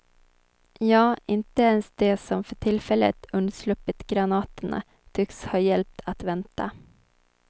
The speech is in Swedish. Ja, inte ens de som för tillfället undsluppit granaterna tycks ha hjälp att vänta.